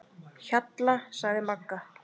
Hjalla, sagði Magga.